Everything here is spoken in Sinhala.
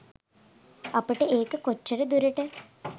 අපට ඒක කොච්චර දුරට